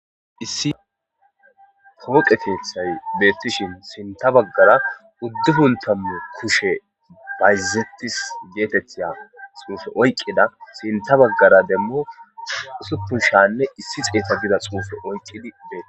Issi kooqeteethay beettishin sinta baggara uddupuntamu kushe bayzettis geetettiya xuufe oyqqida sinta baggara demmu usupushanne issi xeeta bida xuufe oyqqidi bee.